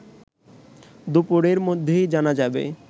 দুপুরের মধ্যেই জানা যাবে